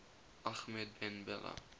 ahmed ben bella